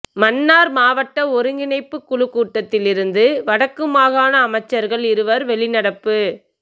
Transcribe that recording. மன்னார் மாவட்ட ஒருங்கிணைப்புக்குழுக்கூட்டத்தி ல் இருந்து வடக்கு மாகாண அமைச்சர்கள் இருவர் வெளிநடப்பு